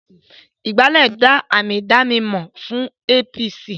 Ìgbálẹ́ jẹ́ àmì ìdánimọ̀ fún APC